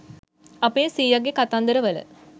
අපේ සීයගේ කතන්දර වල